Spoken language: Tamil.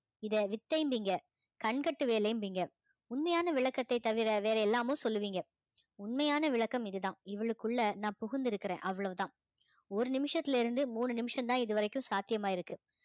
இதை வித்தைபீங்க கண்கட்டு வேலைபீங்க உண்மையான விளக்கத்தைத் தவிர வேறு எல்லாமோ சொல்லுவீங்க உண்மையான விளக்கம் இதுதான் இவளுக்குள்ள நான் புகுந்திருக்கிறேன் அவ்வளவுதான் ஒரு நிமிஷத்துல இருந்து மூணு நிமிஷம்தான் இது வரைக்கும் சாத்தியமாயிருக்கு